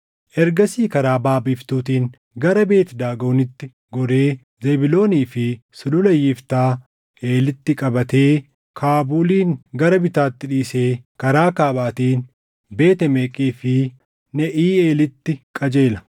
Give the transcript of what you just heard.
Ergasii karaa baʼa biiftuutiin gara Beet Daagonitti goree Zebuuloonii fi Sulula Yiftaa Eelitti qabatee Kaabuulin gara bitaatti dhiisee karaa kaabaatiin Beet Emeeqii fi Neʼiiʼeelitti qajeela.